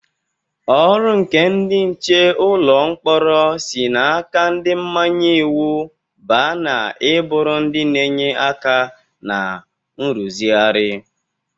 Ọrụ nke ndị nche ụlọ mkpọrọ si n'aka ndị mmanye iwu baa na i bụrụ ndị na-enye aka na nrụzigharị.